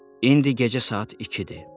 İndi gecə saat 2-dir.